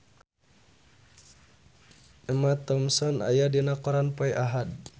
Emma Thompson aya dina koran poe Ahad